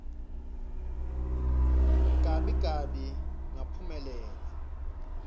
gabi gabi ngaphumelela